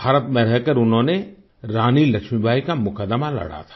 भारत में रहकर उन्होने रानी लक्ष्मीबाई का मुकदमा लड़ा था